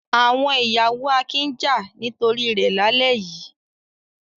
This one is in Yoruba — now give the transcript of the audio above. Àwọn ìyàwó Akin ń jà nítorí rẹ̀ lálẹ́ yìí.